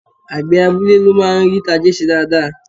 Àgbẹ̀ abúlé ló máa ń rí tajé ṣe dáadáa